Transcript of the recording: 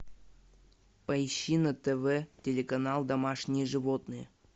поищи на тв телеканал домашние животные